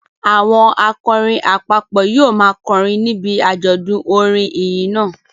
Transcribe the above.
Àwọn akọrin àpapọ̀ yóò máa kọrin níbi àjọ̀dún orin ìyìn náà